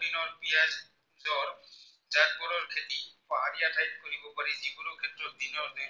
খেতি পাহাৰীয়া ঠাইত কৰিব পাৰি যিকোনো ক্ষেত্ৰত দিনৰ এক ৰাতি